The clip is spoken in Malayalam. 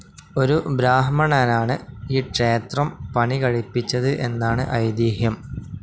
ഒരു ബ്രാഹ്മണനാണ് ഈ ക്ഷേത്രം പണികഴിപ്പിച്ചത് എന്നാണ് ഐതിഹ്യം.